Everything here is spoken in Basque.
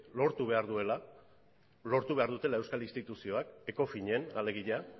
lortu behar duela lortu behar dutela euskal instituzioak ecofinen alegia